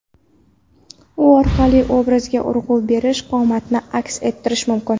U orqali obrazga urg‘u berish, qomatni aks ettirish mumkin.